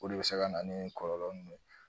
O de bɛ se ka na ni kɔlɔlɔ nun ye.